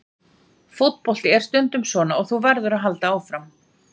Fótbolti er stundum svona og þú verður að halda áfram.